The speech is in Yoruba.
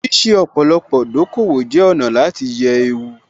Ṣíṣe ọ̀pọ̀lọpọ̀ dòkòwò jẹ́ ọ̀nà láti yẹ ewu